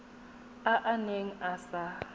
a a neng a sa